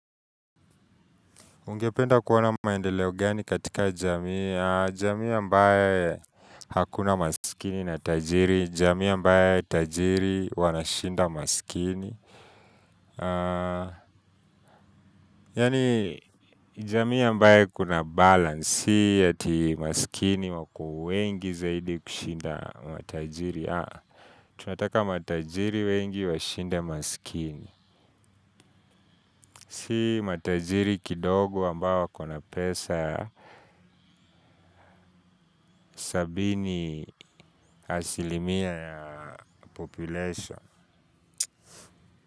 Ungependa kuona maendeleo gani katika jamii? jamii ambaye hakuna masikini na tajiri, jamii ambaye tajiri wanashinda masikini. Yani jamii ambaye kuna balance, si ati masikini wako wengi zaidi kushinda matajiri. Tunataka matajiri wengi washinde masikini. Si matajiri kidogo ambao wako na pesa. Sabini asilimia ya population.